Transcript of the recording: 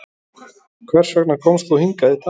Hersir Aron Ólafsson: Hvers vegna komst þú hingað í dag?